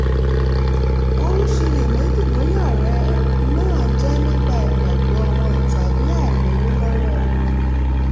ó ń ṣiyèméjì bóyá ọrẹ náà jẹ́ nípa ìgbàgbọ́ wọn tàbí àìlówó lọ́wọ́ wọn